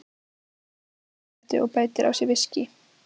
Hann kveikir sér í sígarettu og bætir á sig viskíi.